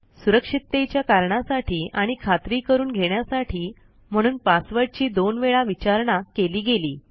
सुरक्षिततेच्या कारणासाठी आणि खात्री करून घेण्यासाठी म्हणून पासवर्डची दोन वेळा विचारणा केली गेली